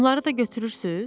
Onları da götürürsüz?